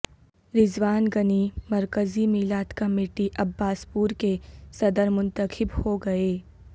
رضوان غنی مرکزی میلاد committee Abbaspur کے صدر منتخب ہو گئے